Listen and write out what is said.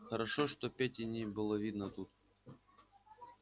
хорошо что пети не было видно тут